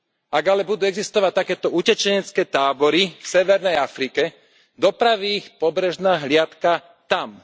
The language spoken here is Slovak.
Ak ale budú existovať takéto utečenecké tábory v severnej Afrike, dopraví ich pobrežná hliadka tam.